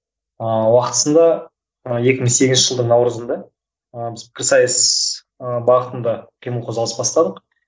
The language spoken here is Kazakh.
ыыы уақытысында ы екі мың сегізінші жылдың наурызында ы біз пікірсайыс ы бағытында үлкен бір қозғалыс бастадық